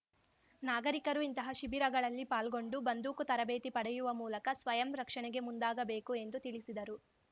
ನಾಗರಿಕರು ಇಂತಹ ಶಿಬಿರಗಳಲ್ಲಿ ಪಾಲ್ಗೊಂಡು ಬಂದೂಕು ತರಬೇತಿ ಪಡೆಯುವ ಮೂಲಕ ಸ್ವಯಂರಕ್ಷಣೆಗೆ ಮುಂದಾಗಬೇಕು ಎಂದು ತಿಳಿಸಿದರು